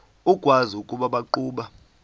ukwazi ukuba baqhuba